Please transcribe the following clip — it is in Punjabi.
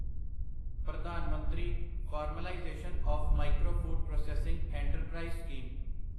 ਪ੍ਰਧਾਨ ਮੰਤਰੀ formalisation of micro food processing enterprise scheme